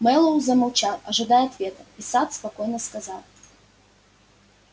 мэллоу замолчал ожидая ответа и сатт спокойно сказал